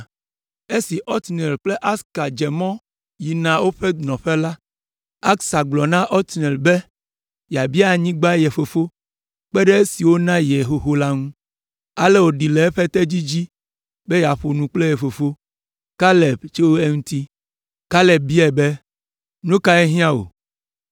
Esi Otniel kple Ahsa dze mɔ yina woƒe nɔƒe la, Ahsa gblɔ na Otniel be yeabia anyigba ye fofo kpe ɖe esi wòna ye xoxo la ŋu. Ale wòɖi le eƒe tedzi dzi be yeaƒo nu kple ye fofo, Kaleb, tso eŋuti. Kaleb biae be, “Nu kae hiã wò?”